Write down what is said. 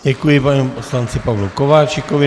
Děkuji panu poslanci Pavlu Kováčikovi.